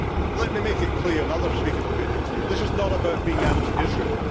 Let me make it clear, and other speakers have made it clear this is not about being anti Israel.